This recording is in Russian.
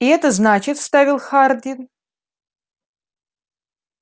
и это значит вставил хардин